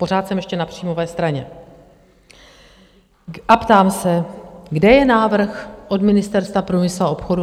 Pořád jsem ještě na příjmové straně a ptám se, kde je návrh od Ministerstva průmyslu a obchodu?